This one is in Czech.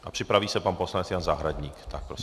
A připraví se pan poslanec Jan Zahradník.